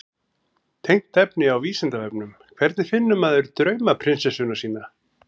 Tengt efni á Vísindavefnum: Hvernig finnur maður draumaprinsessuna sína?